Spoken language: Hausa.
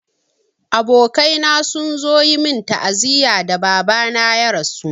Abokaina sun zo yi min ta'aziyya da Baba na ya rasu.